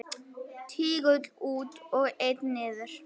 Tígull út og einn niður.